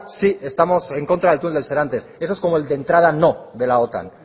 sí estamos en contra del túnel de serantes eso es como el de entrada no de la otan